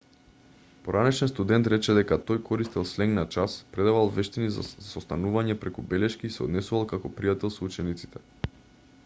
поранешен студент рече дека тој користел сленг на час предавал вештини за состанување преку белешки и се однесувал како пријател со учениците